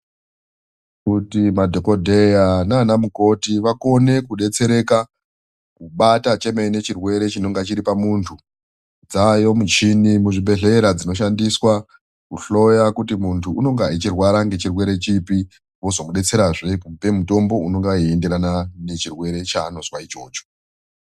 Kuti madhokodheya nana mukoti vakone kudetsereka kubata chemene chirwere chinenge chiri pamuntu dzaayo muchini muzvibhedhlera dzinoshandiswa kuhloya kuti muntu unonga achizwa chirwere chipi vozo mudetserazve kumupe mutombo unenge ichienderana nechirwere chanonga achizwa ichocho.